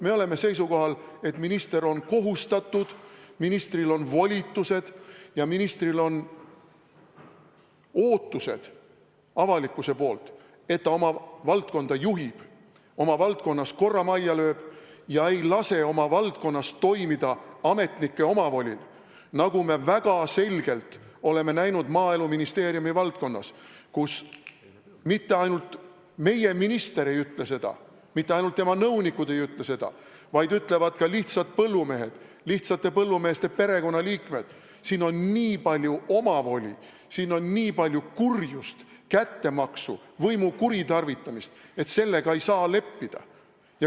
Me oleme seisukohal, et minister on kohustatud oma valdkonda juhtima, ministril on volitused ja avalikkus ootab, et ta oma valdkonda juhiks, oma valdkonnas korra majja lööks ega laseks oma valdkonnas toimida ametnike omavolil, nagu me väga selgelt oleme näinud Maaeluministeeriumi valdkonnas, kus mitte ainult meie minister ei ütle seda, mitte ainult tema nõunikud ei ütle seda, vaid ka lihtsad põllumehed, lihtsate põllumeeste perekonnaliikmed ütlevad, et on nii palju omavoli, nii palju kurjust, kättemaksu, võimu kuritarvitamist, et sellega ei saa leppida.